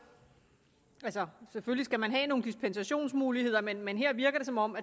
selvfølgelig skal man have nogle dispensationsmuligheder men men her virker det som om